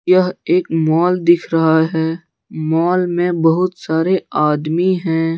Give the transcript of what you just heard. यह एक मॉल दिख रहा है मॉल में बहुत सारे आदमी हैं।